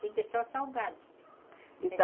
Tudo é só salgado.